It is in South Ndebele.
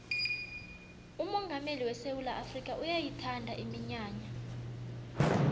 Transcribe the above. umongameli wesewula afrikha uyayithanda iminyanya